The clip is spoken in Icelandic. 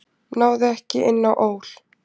Náði ekki inn á ÓL